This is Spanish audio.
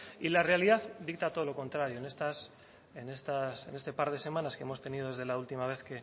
y la realidad dicta todo lo contrario en este par de semanas que hemos tenido desde la última vez